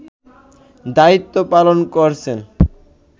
দায়িত্ব পালন করছেন